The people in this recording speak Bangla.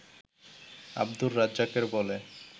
আব্দুর রাজ্জাকের বলে